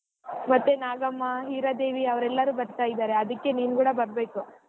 ಮತ್ತೆ ನಾಗಮ್ಮ ಹೀರಾದೇವಿ ಅವ್ರ ಎಲ್ಲರೂ ಬರ್ತಾ ಇದಾರೆ ಅದಕೆ ನೀನ್ ಕೂಡ ಬರಬೇಕು.